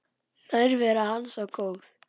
Nærvera hans var góð.